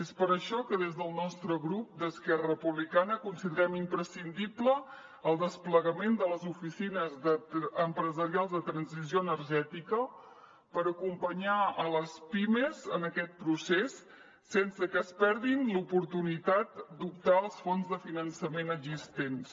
és per això que des del nostre grup d’esquerra republicana considerem imprescindible el desplegament de les oficines empresarials de transició energètica per acompanyar les pimes en aquest procés sense que es perdin l’oportunitat d’optar als fons de finançament existents